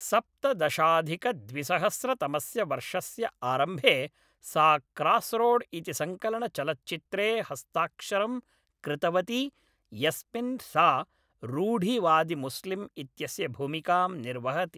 सप्तदशाधिकद्विसहस्रतमस्य वर्षस्य आरम्भे सा क्रास्रोड् इति संकलनचलच्चित्रे हस्ताक्षरं कृतवती यस्मिन् सा रूढिवादिमुस्लिम् इत्यस्य भूमिकां निर्वहति ।